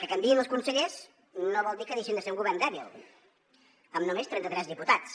que canviïn els consellers no vol dir que deixin de ser un govern dèbil amb només trenta tres diputats